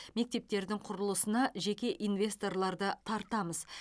мектептердің құрылысына жеке инвесторларды тартамыз